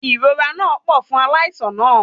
Ìrora náà pọ̀ fún aláìsàn náà